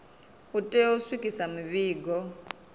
u tea u swikisa mivhigo